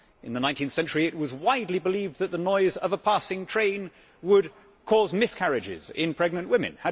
In the 19 th century it was widely believed that the noise of a passing train would cause miscarriages in pregnant women.